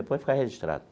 Depois fica registrado.